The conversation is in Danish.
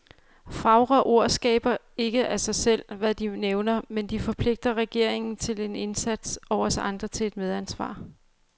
Fagre ord skaber ikke af sig selv, hvad de nævner, men de forpligter regeringen til en indsats, og os andre til et medansvar.